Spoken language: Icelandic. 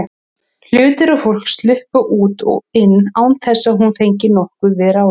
Hlutir og fólk sluppu út og inn án þess að hún fengi nokkuð við ráðið.